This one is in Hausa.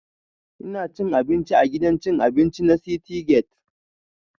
Ina cin abinci a gidan cin abinci na citygate